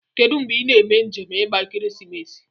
Kedu ngbe ina eme njem igba ekeresimesi?